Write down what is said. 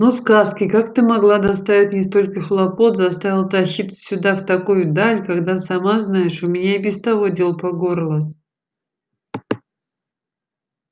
ну сказки как ты могла доставить мне столько хлопот заставила тащиться сюда в такую даль когда сама знаешь у меня и без того дел по горло